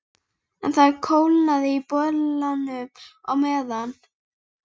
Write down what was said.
En það kólnaði í bollanum á meðan